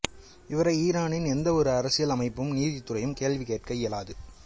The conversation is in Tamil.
இவரை ஈரானின் எந்த ஒரு அரசியல் அமைப்பும் நீதித்துறையும் கேள்வி கேட்க இயலாது